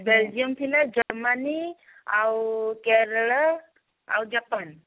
Belgium ଥିଲା Germany ଆଉ କେରଳ ଆଉ ଜାପାନ